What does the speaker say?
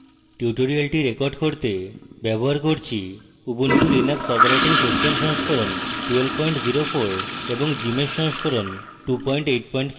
tutorial record করতে ব্যবহার করছি উবুন্টু লিনাক্স অপারেটিং সিস্টেম সংস্করণ 1204 এবং gmsh সংস্করণ 285